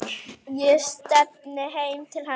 Ég stefni heim til hennar.